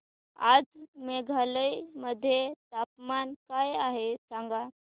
आज मेघालय मध्ये तापमान काय आहे सांगा